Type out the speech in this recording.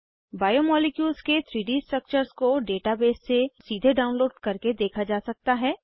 biomolecules के 3डी structures को डेटाबेस से सीधे डाउनलोड करके देखा जा सकता है